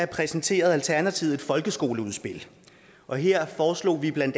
præsenterede alternativet et folkeskoleudspil og her foreslog vi bla